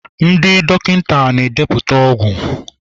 ndị dọkịta na-edepụta ọgwụ.